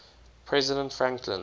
president franklin